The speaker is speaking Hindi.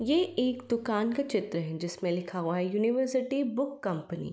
ये एक दुकान का चित्र है जिसमें लिखा हुआ है युनिवेर्सिटी बुक कंपनी --